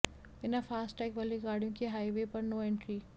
बिना fast tag वाली गाड़ियों की हाइवे पर नो एंट्री